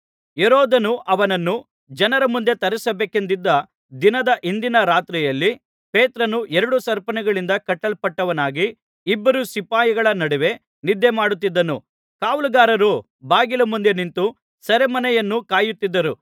ಹೆರೋದನು ಅವನನ್ನು ಜನರ ಮುಂದೆ ತರಿಸಬೇಕೆಂದಿದ್ದ ದಿನದ ಹಿಂದಿನ ರಾತ್ರಿಯಲ್ಲಿ ಪೇತ್ರನು ಎರಡು ಸರಪಣಿಗಳಿಂದ ಕಟ್ಟಲ್ಪಟ್ಟವನಾಗಿ ಇಬ್ಬರು ಸಿಪಾಯಿಗಳ ನಡುವೆ ನಿದ್ದೆಮಾಡುತ್ತಿದ್ದನು ಕಾವಲುಗಾರರು ಬಾಗಿಲ ಮುಂದೆ ನಿಂತು ಸೆರೆಮನೆಯನ್ನು ಕಾಯುತ್ತಿದ್ದರು